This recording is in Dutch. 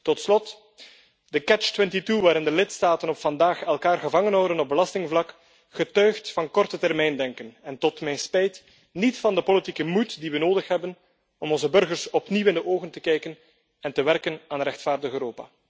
Tot slot de catch 22 waarin de lidstaten elkaar vandaag de dag gevangenhouden op belastingvlak, getuigt van kortetermijndenken, en tot mijn spijt niet van de politieke moed die we nodig hebben om onze burgers opnieuw in de ogen te kijken en te werken aan een rechtvaardig Europa.